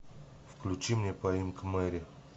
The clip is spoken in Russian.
включи мне поимка мэри